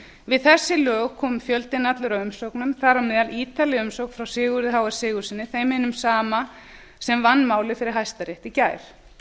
við þessi lög kom fjöldinn allur af umsögnum þar á meðal ítarleg umsögn frá sigurði h s sigurðssyni þeim hinum sama sem vann málið fyrir hæstarétti í gær